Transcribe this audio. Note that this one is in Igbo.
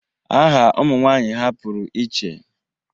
Aha ụmụnwaanyị ha pụrụ iche.